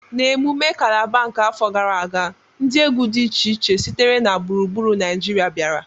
N'emume kalaba nke afọ gara aga, ndị egwu dị iche iche sitere na gburugburu Naịjirịa bịara